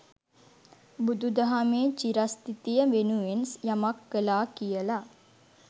බුදු දහමේ චිරස්ථිතිය වෙනුවෙන් යමක් කලා කියල.